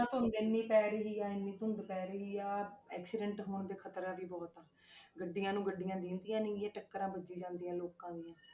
ਧੁੰਦ ਇੰਨੀ ਪੈ ਰਹੀ ਹੈ ਇੰਨੀ ਧੁੰਦ ਪੈ ਰਹੀ ਆ accident ਹੋਣ ਦਾ ਖ਼ਤਰਾ ਵੀ ਬਹੁਤ ਹੈ ਗੱਡੀਆਂ ਨੂੰ ਗੱਡੀਆਂ ਦਿਸਦੀਆਂ ਨੀ ਹੈਗੀਆਂ, ਟੱਕਰਾਂ ਵੱਜੀ ਜਾਂਦੀਆਂ ਲੋਕਾਂ ਦੀਆਂ,